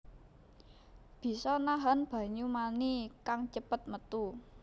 Bisa nahan banyu mani kang cepet métu